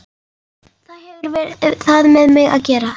Hvað hefur það með mig að gera?